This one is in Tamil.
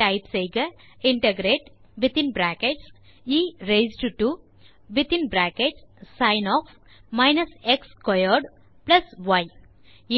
டைப் செய்க